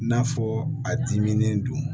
N'a fɔ a dimi don